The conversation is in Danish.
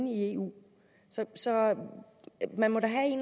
i eu så man må da